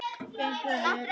Gengur vel?